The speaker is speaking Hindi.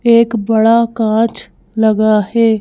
एक बड़ा कांच लगा है।